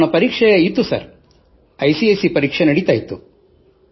ಅವನ ಪರೀಕ್ಷೆ ಇತ್ತು sir I C S C ಪರೀಕ್ಷೆ ನಡೆಯುತ್ತಿದ್ದವು